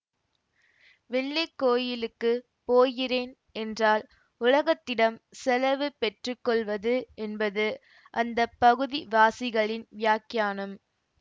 வெள்ளைக்கோயிலுக்குப் போகிறேன் என்றால் உலகத்திடம் செலவு பெற்றுக்கொள்வது என்பது அந்த பகுதி வாசிகளின் வியாக்கியானம்